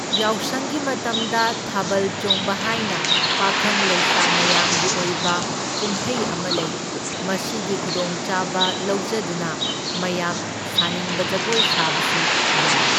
ꯌꯥꯎꯁꯪꯒꯤ ꯃꯇꯝꯗ ꯊꯥꯕꯜ ꯆꯣꯡꯕ ꯍꯥꯏꯅ ꯄꯥꯈꯪ ꯂꯩꯁꯥ ꯃꯌꯥꯝꯒꯤ ꯑꯣꯏꯕ ꯀꯨꯝꯍꯩ ꯑꯃ ꯂꯩ, ꯃꯁꯤꯒꯤ ꯈꯨꯗꯣꯡꯆꯥꯕ ꯂꯧꯖꯗꯨꯅ ꯃꯌꯥꯝ ꯁꯥꯅꯤꯡꯕ ꯖꯒꯣꯏ ꯁꯥꯕꯁꯨ ꯌꯥꯏ꯫